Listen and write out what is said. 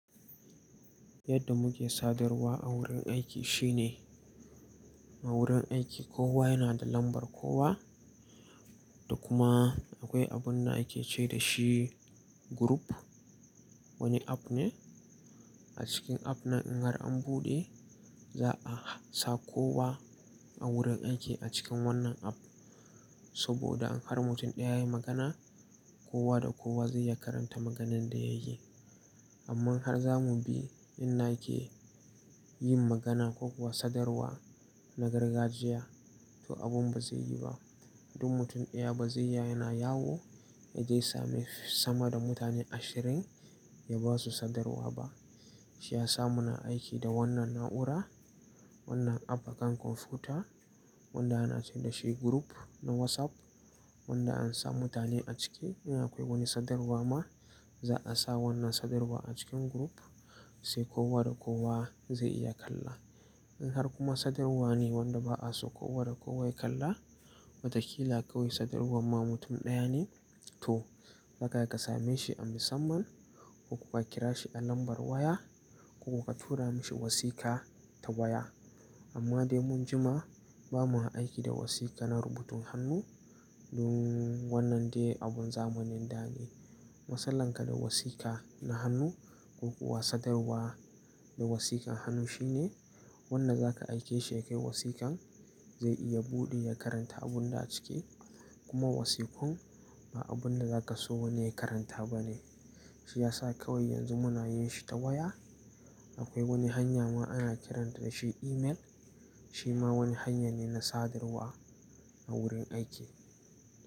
Yadda muke sadarwa a wurin aiki shine a wurin aiki kowa yana da lambar kowa da kuma akwai abun da ake ce da shi group. Wani app ne. A cikin app na in har an buɗe za a sa kowa a wurin aiki a cikin wannan app. Saboda in har mutum ɗaya ya yi magana kowa da kowa zai iya karanta maganan da ya yi. Amma har zamu bi in nake yin magana ko kuwa sadarwa na gargajiya to abun ba zai yi ba. Dun mutum ɗaya ba zai iya yana yawo ya je same sama da mutane ashirin ya basu sadarwa ba. Shi ya sa muna aiki da wannan na'ura, wannan app akan kwamfuta wanda ana ce da shi group na WhatsApp wanda an sa mutane a ciki. In akwai wani sadarwa ma za a sa wannan sadarwa a cikin group sai kowa da kowa zai iya kalla. In har kuma sadarwa ne wanda ba a so kowa da kowa ya kalla, wataƙila kawai sadarwar ma mutum ɗaya ne to haka ya kasame shi an bisamman ko kuwa kira shi a lambar waya ko kuwa tura mashi wasika ta waya. Amma dai mun jima bamuyi aiki da wasika na rubutun hannu dun wannan dai abun zamanin da ne. Matsalanka da wasika na hannu ko kuwa sadarwa da wasikan hannu shine wannan zaka aike shi ya kai wasikan zai iya buɗe ya karanta abun da a ciki kuma wasikun ba abun da zaka so wani ya karanta ba ne. Shi ya sa kawai yanzu muna yin shi ta waya. Akwai wani hanya ma ana kiranta da shi email shi ma wani hanya ne na sadarwa a wurin aiki.